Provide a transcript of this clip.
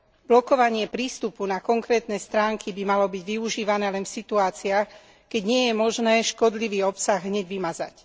Blokovanie prístupu na konkrétne stránky by malo byť využívané len v situáciách, keď nie je možné škodlivý obsah hneď vymazať.